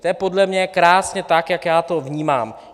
To je podle mě krásně tak, jak já to vnímám.